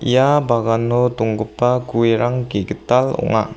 ia bagano donggipa guerang ge·gital ong·a.